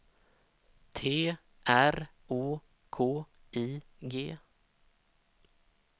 T R Å K I G